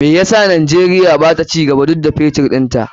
Me yasa Najeriya bata cigaba duk da Fetur ɗinta?